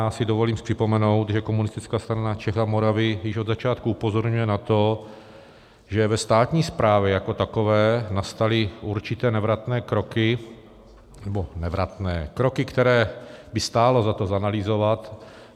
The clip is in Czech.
Já si dovolím připomenout, že Komunistická strana Čech a Moravy již od začátku upozorňuje na to, že ve státní správě jako takové nastaly určité nevratné kroky... nebo nevratné... kroky, které by stálo za to zanalyzovat.